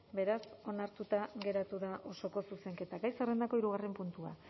beraz onartuta geratu da osoko zuzenketa gai zerrendako hirugarren puntua